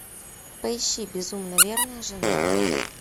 поищи безумно верная жена